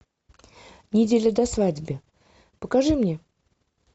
неделю до свадьбы покажи мне